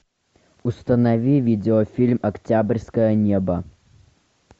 установи видеофильм октябрьское небо